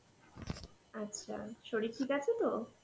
আচ্ছা শরীর ঠিক আছে তো?